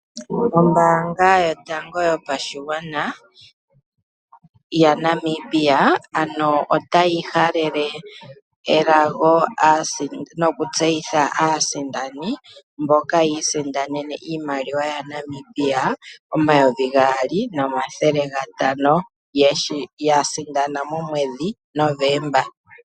Oombanga yotango yopashigwana yaNamibia ota yi halele elago nokutseyitha aasindani mboka yiisindanene iimaliwa yaNamibia omayovi gaali nomathele gatano, ya sindana momwedhi November.